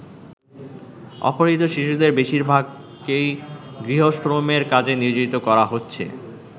অপহৃত শিশুদের বেশিরভাগকেই গৃহশ্রমের কাজে নিয়োজিত করা হচ্ছে।